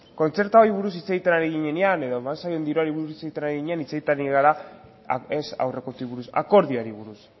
kontzertuari buruz hitz egiten ari ginenean edo diruari buruz ari ginenean hitz egiten ari gara ez aurrekontuei buruz akordioari buruz